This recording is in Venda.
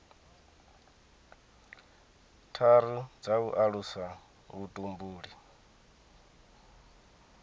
tharu dza u alusa vhutumbuli